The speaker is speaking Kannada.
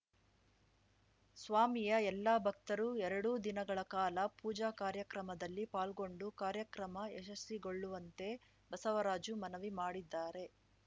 ಸ್ವಾಮಿಯ ಎಲ್ಲ ಭಕ್ತರು ಎರಡೂ ದಿನಗಳ ಕಾಲ ಪೂಜಾ ಕಾರ್ಯಕ್ರಮದಲ್ಲಿ ಪಾಲ್ಗೊಂಡು ಕಾರ್ಯಕ್ರಮ ಯಶಸ್ವಿಗೊಳ್ಳುವಂತೆ ಬಸವರಾಜು ಮನವಿ ಮಾಡಿದ್ದಾರೆ